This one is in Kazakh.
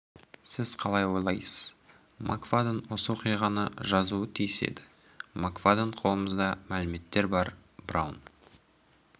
сіз қалай ойлайсыз мак фадден осы оқиғаны жазуы тиіс еді мак фадден қолымызда мәліметтер бар браун